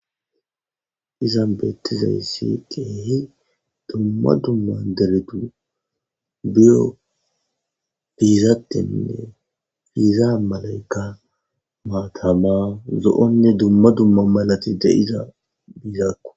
Izan beettizayssi keehi dumma dumman deretu biyo biizattenne fiiza malaykka maatama zo7onne dumma dumma malati deiza biizakko.